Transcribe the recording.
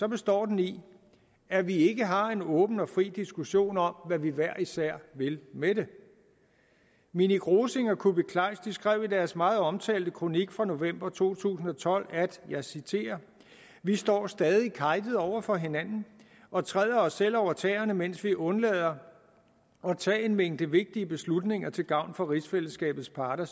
består den i at vi ikke har en åben og fri diskussion om hvad vi hver især vil med det minik rosing og kuupik kleist skrev i deres meget omtalte kronik fra november 2012 vi står stadig kejtet over for hinanden og træder os selv over tæerne mens vi undlader at tage en mængde vigtige beslutninger til fælles gavn for rigsfællesskabets parter